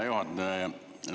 Hea juhataja!